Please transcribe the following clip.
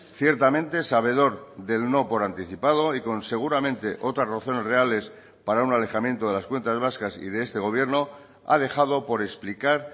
ciertamente sabedor del no por anticipado y con seguramente otras razones reales para un alejamiento de las cuentas vascas y de este gobierno ha dejado por explicar